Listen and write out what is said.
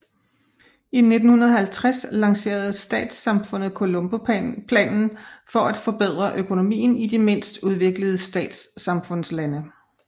I 1950 lancerede Statssamfundet Colomboplanen for at forbedre økonomien i de mindst udviklede Statssamfundslande